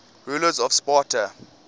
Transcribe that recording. rulers of sparta